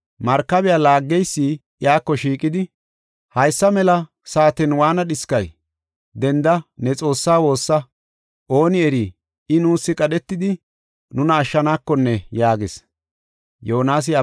Markabiya laaggeysi iyako shiiqidi, “Haysa mela saaten waana dhiskay? Denda ne xoossa woossa! Ooni eri I nuus qadhetidi nuna ashshanekonne” yaagis.